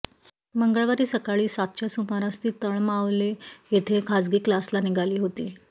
मंगळवारी सकाळी सातच्या सुमारास ती तळमावले येथे खाजगी क्लासला निघाली होती